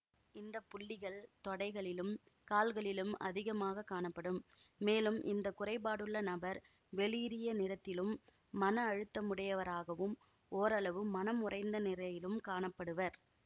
இந்த புள்ளிகள் தொடைகளிலும் கால்களிலும் அதிகமாக காணப்படும் மேலும் இந்த குறைபாடுள்ள நபர் வெளிரிய நிறத்திலும் மன அழுத்தமுடையவராகவும் ஓரளவு மனம் உறைந்த நிலையிலும் காண படுவர்